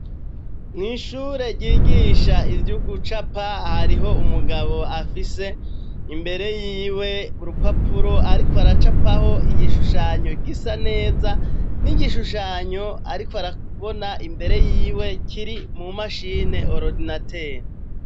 Mw'ishure ryigisha ivyo ugucapa hariho umugabo afise imbere yiwe burupapuro, ariko aracapaho igishushanyo gisa neza n'igishushanyo, ariko arabona imbere yiwe kiri mu mashine orodinate.